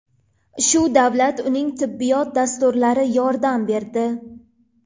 Shu davlat, uning tibbiyot dasturlari yordam berdi.